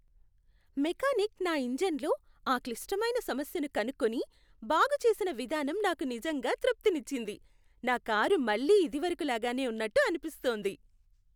Mechanic నా ఇంజిన్లో ఆ క్లిష్టమైన సమస్యను కనుక్కుని, బాగుచేసిన విధానం నాకు నిజంగా తృప్తినిచ్చింది, నా కారు మళ్లీ ఇదివరకు లాగానే ఉన్నట్టు అనిపిస్తుంది.